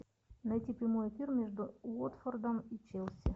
найти прямой эфир между уотфордом и челси